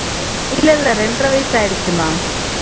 இல்லை இல்லை இரண்டரை வயசு ஆயிடுச்சுமா